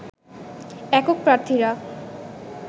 একক প্রার্থীরা